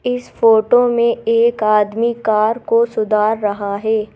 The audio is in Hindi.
इस फोटो में एक आदमी कार को सुधार रहा है।